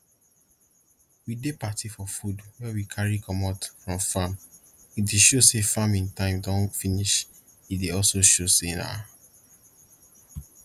we dey party for food wey we carry comot from farm e dey show say farming time don finish e dey also show say na